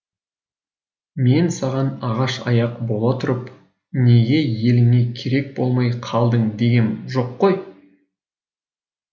мен саған ағаш аяқ бола тұрып неге еліңе керек болмай қалдың дегем жоқ қой